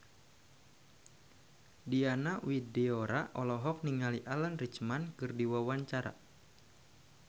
Diana Widoera olohok ningali Alan Rickman keur diwawancara